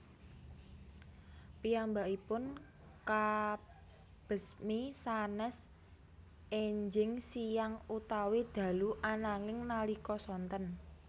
Piyambakipun kabesmi sanes enjing siyang utawi dalu ananging nalika sonten